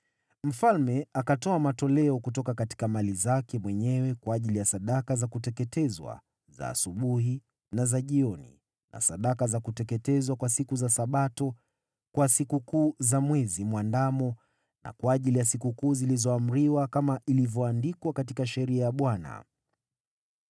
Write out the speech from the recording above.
Mfalme akatoa matoleo kutoka mali zake mwenyewe kwa ajili ya sadaka za kuteketezwa za asubuhi na za jioni na sadaka za kuteketezwa kwa siku za Sabato, kwa Sikukuu za Mwezi Mwandamo na kwa ajili ya sikukuu zilizoamriwa kama ilivyoandikwa katika Sheria ya Bwana .